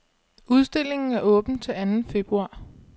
Udstillingen er åben til anden februar.